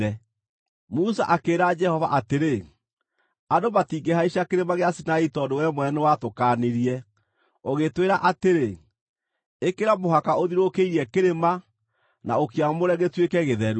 Musa akĩĩra Jehova atĩrĩ, “Andũ matingĩhaica Kĩrĩma gĩa Sinai tondũ we mwene nĩwatũkaanirie, ũgĩtwĩra atĩrĩ, ‘Ĩkĩra mũhaka ũthiũrũrũkĩrie kĩrĩma, na ũkĩamũre gĩtuĩke gĩtheru.’ ”